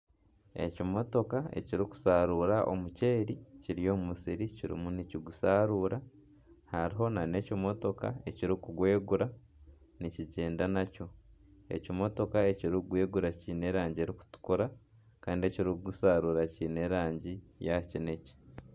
Ekimotoka ekirikusharuura omuceeri kiri omu musiri kiriyo nikigusharuura hariho nana ekimotoka ekirikugwegura nikigyenda nakyo ekimotoka ekirikugwegura kiine erangi erikutukura kandi ekirikugusharura kiine erangi ya kineekye